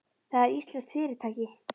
Það er íslenskt fyrirtæki.